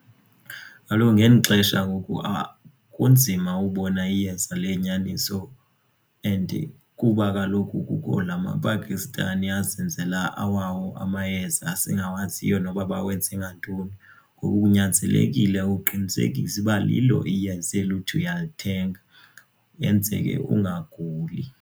Kaloku ngeli xesha ngoku apha kunzima ubona iyeza eliyinyaniso and kuba kaloku kukho namaPakistani azenzela awawo amayeza esingawaziyo noba bawenze ngantoni. Ngoku kunyanzelekile uqinisekise uba lilo iyeza elo uthi uyalithenga yenzele ungaguli ungaguli.